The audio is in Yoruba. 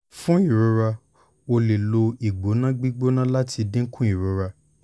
fun irora o le lo igbona gbigbona lati dinku irora